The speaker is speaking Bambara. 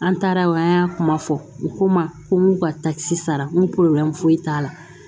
An taara o an y'a kuma fɔ u ko ma ko n k'u ka takisi sara n ko foyi t'a la